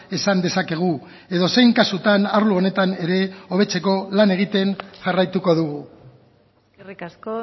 esan dezakegu edozein kasutan arlo honetan ere hobetzeko lan egiten jarraituko dugu eskerrik asko